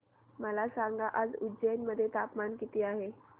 मला सांगा आज उज्जैन मध्ये तापमान किती आहे